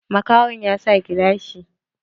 Makahon ya sa gilashi.